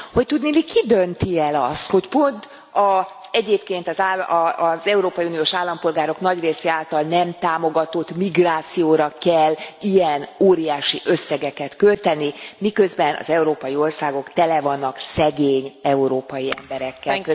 Hogy tudniillik ki dönti el azt, hogy pont az egyébként az európai uniós állampolgárok nagy része által nem támogatott migrációra kell ilyen óriási összegeket költeni, miközben az európai országok tele vannak szegény európai emberekkel.